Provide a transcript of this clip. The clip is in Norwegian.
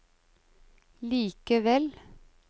likevel